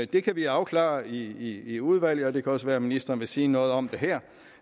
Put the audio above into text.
det kan vi afklare i i udvalget og det kan også være at ministeren vil sige noget om det her